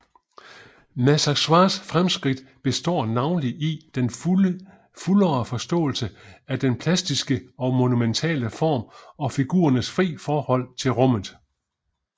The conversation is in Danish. Masaccios fremskridt består navnlig i den fuldere forståelse af den plastiske og monumentale form og figurernes fri forhold til rummet